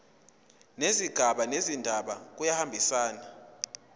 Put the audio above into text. nezigaba zendaba kuyahambisana